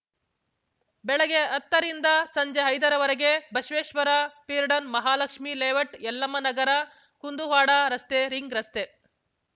ಬೆಳಗ್ಗೆ ಹತ್ತರಿಂದ ಸಂಜೆ ಐದರ ವರೆಗೆ ಬಸವೇಶ್ವರ ಫೀರ್ಡನ ಮಹಾಲಕ್ಷ್ಮಿ ಲೇಔಟ್‌ ಯಲ್ಲಮ್ಮ ನಗರ ಕುಂದುವಾಡ ರಸ್ತೆ ರಿಂಗ್‌ ರಸ್ತೆ